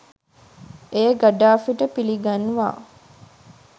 එය ගඩාෆිට පිළිගන්වා